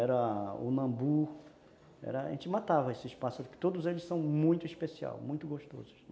Era o nambu, a gente matava esses pássaros, porque todos eles são muito especiais, muito gostosos.